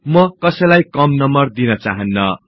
म कसैलाई कम नंबर दिन चाहान्न